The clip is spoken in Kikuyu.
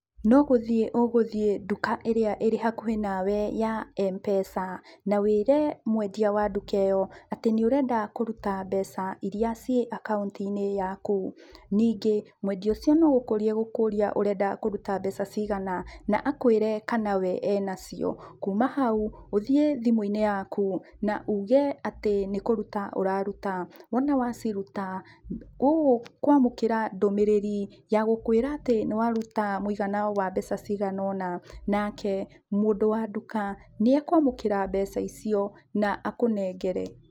No gũthiĩ ũgũthiĩ nduka ĩrĩa ĩrĩhakuhĩ nawe ya Mpesa, na wĩre mwendia wa nduka ĩyo atĩ nĩũrenda kũruta mbeca iria ciĩ akaunti-inĩ yaku. Ningĩ, mwendia ũcio no gũkũria egũkũria ũrenda kũruta mbeca cigana, akwĩre kana we enacio. Kuma hau, ũthiĩ thimũ-inĩ yaku, na uge atĩ nĩ kũruta ũraruta. Wona waciruta, ũkwamũkĩra ndũmĩrĩri ya gũkwĩra nĩwaruta mũigana wa mbeca cigana ũna, nake mũndũ wa nduka, nĩekwamũkĩra mbeca icio na akũnengere.